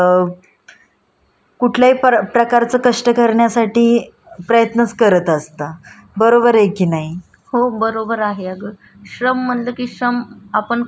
हो बरोबर आहे अग श्रम म्हनल कि श्रम आपण काम अ काम कन्सिडर करत असतो. पण आपण जे डेली काम करतो ते आणि श्रम या मध्ये खूप फरक आहे.